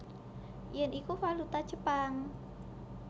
Yen iku valuta Jepang